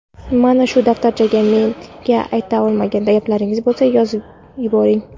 mana shu daftarchaga menga ayta olmagan gaplaringiz bo‘lsa yozib boring.